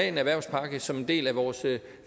en erhvervspakke som en del af vores